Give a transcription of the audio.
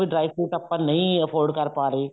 dry fruit ਆਪਾਂ ਨਹੀਂ afford ਕਰ ਪਾ ਰਹੇ